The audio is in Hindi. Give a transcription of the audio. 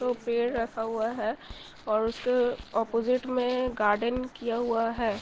तो पेड़ राखा हुआ है और उसके ओपॉज़िट में गार्डन किया हुआ है।